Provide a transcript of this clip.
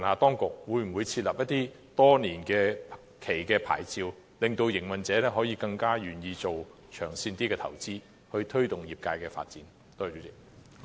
當局可否發出多年期的牌照，令營運者更願意作長線投資，推動業界發展？